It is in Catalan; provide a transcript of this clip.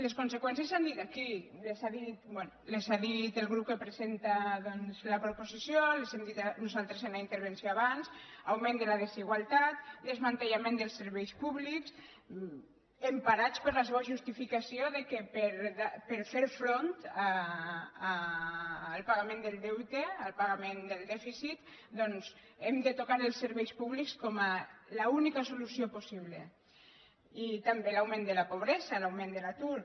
les conseqüències s’han dit aquí les ha dites el grup que presenta doncs la proposició les hem dites nosaltres en la intervenció abans augment de la desigualtat desmantellament dels serveis públics emparats per la seva justificació que per fer front al pagament del deute al pagament del dèficit doncs hem de tocar els serveis públics com a única solució possible i també l’augment de la pobresa l’augment de l’atur